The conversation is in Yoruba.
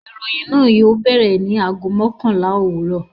Ìròyìn náà yóò bẹ̀rẹ̀ ní ago mọ́kànlá òwúrọ̀.